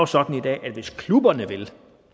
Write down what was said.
sådan i dag at hvis klubberne vil